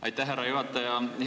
Aitäh, härra juhataja!